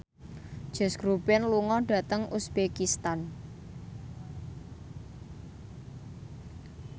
Josh Groban lunga dhateng uzbekistan